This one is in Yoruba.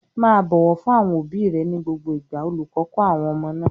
"Má a bọ̀wọ̀ fún àwọn òbí rẹ ní gbogbo ìgbà!" Olùkọ́ kọ́ àwọn ọmọ náà.